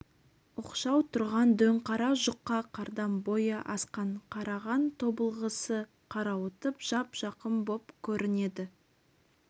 оқшау тұрған дөңқара жұқа қардан бойы асқан қараған тобылғысы қарауытып жап-жақын боп көрінеді